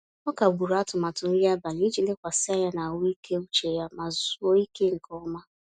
Ọ kagburu atụmatụ nri abalị iji lekwasị anya na ahụike uche ya ma zuoo ike nke ọma.